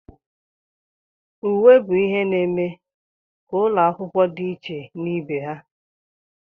Uwe bụ ihe na-eme ka ụlọ akwụkwọ dị iche na ibe ha.